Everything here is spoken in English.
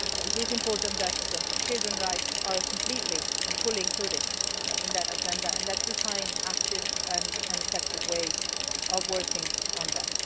It is important that children's rights are completely and fully included in that Agenda and that we find active and effective ways of working on that.